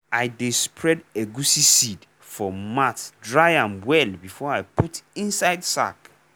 i dey spread egusi seed for mat dry am well before i put inside sack.